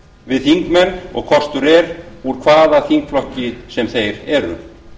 við þingmenn og kostur er úr hvaða þingflokki sem þeir eru